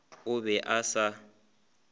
o be a se a